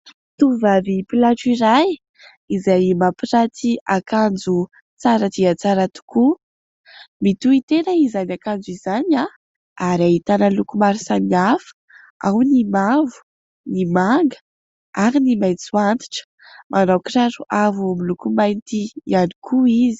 Tovovavy mpilatro iray izay mampiranty akanjo tsara dia tsara tokoa, mitohy tena izany akanjo izany ary ahitana ny loko maro samy hafa ; ao ny mavo, ny manga ary ny maitso antitra, manao kiraro avo miloko mainty ihany koa izy.